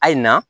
Ayi na